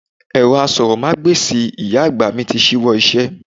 Ẹ̀rọ asọ̀rọ̀mágbèsì ìyá àgbà mi ti ṣíwọ́ iṣẹ́.